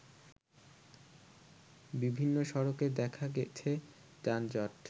বিভিন্ন সড়কে দেখা গেছে যানজট